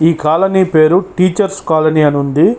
ఈ కాలనీ పేరు teachers colony అని ఉంది.